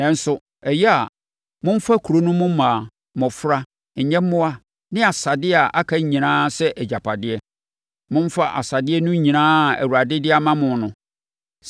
Nanso, ɛyɛ a momfa kuro no mu mmaa, mmɔfra, nyɛmmoa ne asadeɛ a aka nyinaa sɛ agyapadeɛ. Momfa asadeɛ no nyinaa a Awurade de ama mo no.